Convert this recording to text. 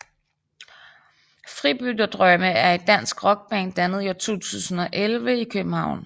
Fribytterdrømme er et dansk rockband dannet i 2011 i København